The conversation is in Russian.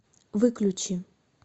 выключи